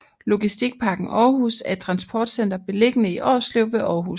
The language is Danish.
Logistikparken Aarhus er et transportcenter beliggende i Årslev ved Aarhus